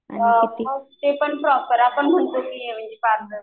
हां ते पण प्रॉपर आपण म्हणतो पार्लर